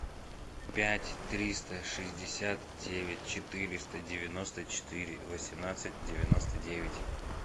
пять триста шестьдесят девять четыреста девяносто четыре восемнадцать девяносто девять